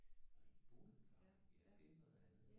Nå I boede i Farum? Ja det er noget andet